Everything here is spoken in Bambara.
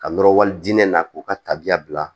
Ka nɔrɔli diinɛ na k'u ka tabiya bila